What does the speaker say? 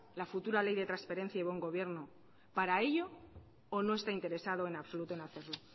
la futura ley de transparencia y buen gobierno para ello o no está interesado en absoluto en hacerlo